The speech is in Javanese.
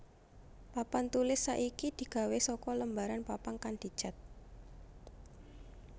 Papan tulis saiki digawé saka lembaran papan kang dicet